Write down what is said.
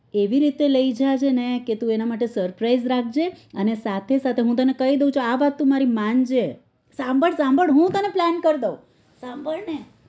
એવી રીતે લઇ જાજે ને કે તું એની માટે surprise રાખજે અને સાથે સાથે હું તને કૈદુ આવાત મારી માનજે સંભાળ સંભાળ હું તને plan કર દુંઉ સંભાળ ને